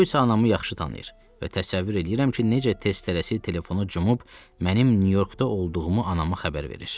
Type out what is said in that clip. O isə anamı yaxşı tanıyır və təsəvvür eləyirəm ki, necə tez tələsik telefonu cumub mənim Nyu-Yorkda olduğumu anama xəbər verir.